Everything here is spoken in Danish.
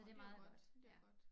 Nå det godt det godt